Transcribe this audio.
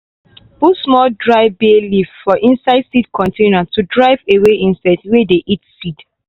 put small dry bay leaf for inside seed container to drive away insects wey dey eat seed.